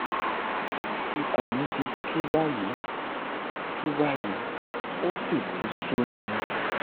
ikùn mi ti tú báyìí tú báyìí ó sì ti sú mi